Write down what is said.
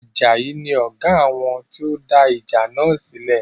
Ajayi ni Ọ̀gá àwọn tí ó dá ìjà náà sílẹ̀